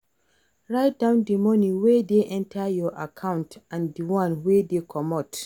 Write down di money wey dey enter your account and di one wey dey comot